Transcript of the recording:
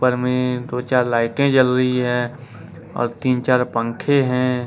ऊपर में दो चार लाइटें जल रही है और तीन चार पंखे हैं।